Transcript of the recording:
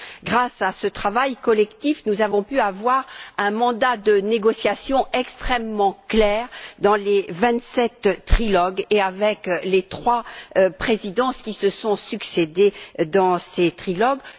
Grâce à ce travail collectif, nous avons pu avoir un mandat de négociation extrêmement clair dans les vingt sept trilogues et, avec les trois présidences qui se sont succédé dans ces trilogues.